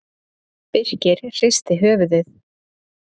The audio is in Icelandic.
Birkir hristi höfuðið.